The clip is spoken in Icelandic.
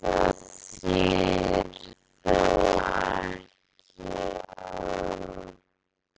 Þetta þýðir þó ekki, að